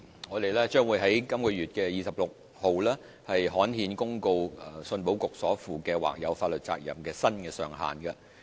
我們將於6月2日刊憲公告香港出口信用保險局所負的或有法律責任的新上限。